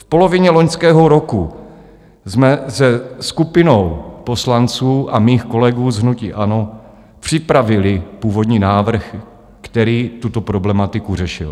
V polovině loňského roku jsme se skupinou poslanců a mých kolegů z hnutí ANO připravili původní návrh, který tuto problematiku řešil.